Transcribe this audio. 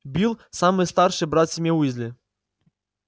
билл самый старший брат в семье уизли